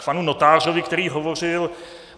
K panu notáři, který hovořil.